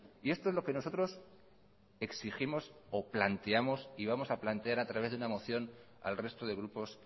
y esto es lo que nosotros exigimos o planteamos y vamos a plantear a través de una moción al resto de grupos